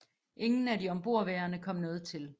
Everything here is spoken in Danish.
Ingen af de ombordværende kom noget til